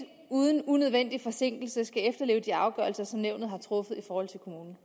uden unødvendig forsinkelse at efterleve de afgørelser som nævnet har truffet i forhold til kommunen